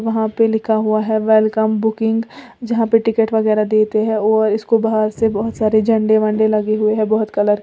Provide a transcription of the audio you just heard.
वहां पे लिखा हुआ है वेलकम बुकिंग यहां पे टिकट वगैरा देते हैं और इसको बाहर से बहुत सारे झंडे वंडे लगे हुए हैं बहुत कलर के।